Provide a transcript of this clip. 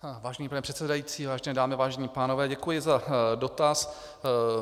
Vážený pane předsedající, vážené dámy, vážení pánové, děkuji za dotaz.